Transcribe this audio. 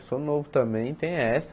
Eu sou novo também, tem essa.